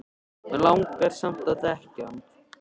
Mig langar samt að þekkja hann